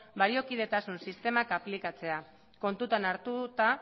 baliokidetasun sistemak aplikatzea kontuan hartuta